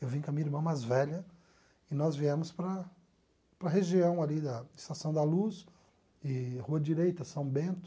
Eu vim com a minha irmã mais velha e nós viemos para para a região ali da Estação da Luz e Rua Direita, São Bento.